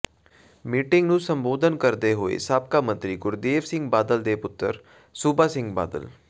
meeting ਨੰੂ ਸੰਬੋਧਨ ਕਰਦੇ ਹੋਏ ਸਾਬਕਾ ਮੰਤਰੀ ਗੁਰਦੇਵ ਸਿੰਘ ਬਾਦਲ ਦੇ ਪੁੱਤਰ ਸੂਬਾ ਸਿੰਘ ਬਾਦਲ